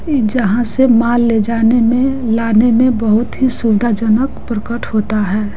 जहां से माल ले जाने में लाने में बहुत ही सुविधा जनक प्रकट होता है।